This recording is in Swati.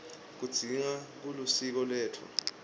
kugidza kulisiko letfu